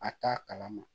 A t'a kalama